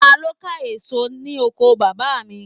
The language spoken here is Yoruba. Ta ló ka èso ní oko bàbá mi